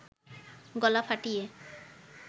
গলা ফটিয়ে